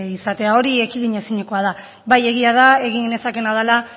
izatea hori ekidinezinekoa da bai egia da egin nezakeena dela